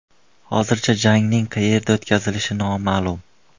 Hozircha jangning qayerda o‘tkazilishi noma’lum.